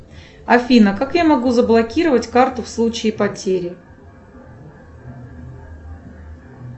афина как я могу заблокировать карту в случае потери